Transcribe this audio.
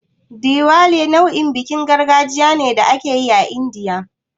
Diwali nau'in bikin gargajiya ne da ake yi a Indiya.